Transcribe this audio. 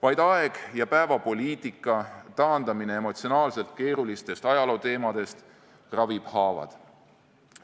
Vaid aeg ja päevapoliitika taandamine emotsionaalselt keerulistest ajalooteemadest ravib haavad.